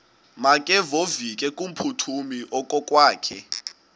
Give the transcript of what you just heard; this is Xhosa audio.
makevovike kumphuthumi okokwakhe